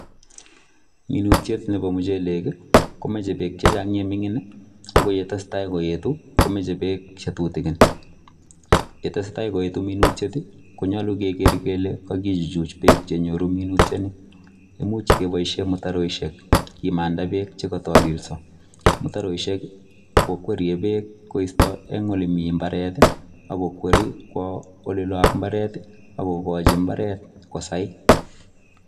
Minutiiet nebo muchelek ii komachei beek che chaang ye mingiin ii ye tesetai koetu komachei beek tutukiin, ye tesetai koetu minutiet konyaluu keger kele kagichuchuuch beek che nyoruu minutiet nii imuuch kebaisheen mutaroishek kimandaa beek chekatalisaa , mutaroishek ii kokwerie beek koista en ole Mii mutareet ii ak kokwerie kowaa ole loo en mbaret ii.